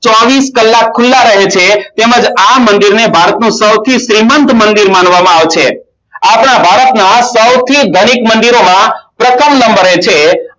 ચોવીશ કલાક ખુલા રહે છે તેમજ મંદિરને ભારતનું સૌથી સેમંદ માનવામાં આવે છે આપણા ભારતના સૌ ગણિત મંદિરોમાં પ્રથમ નંબરે છે